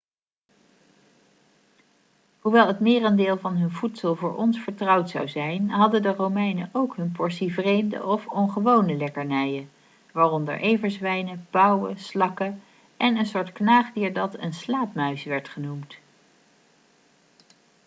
hoewel het merendeel van hun voedsel voor ons vertrouwd zou zijn hadden de romeinen ook hun portie vreemde of ongewone lekkernijen waaronder everzwijnen pauwen slakken en een soort knaagdier dat een slaapmuis werd genoemd